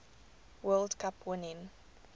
world cup winning